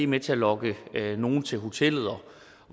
med til at lokke nogle til hotellet